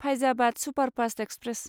Faizabad superfast express